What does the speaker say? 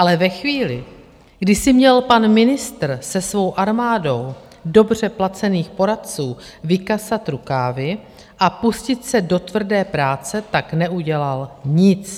Ale ve chvíli, kdy si měl pan ministr se svou armádou dobře placených poradců vykasat rukávy a pustit se do tvrdé práce, tak neudělal nic.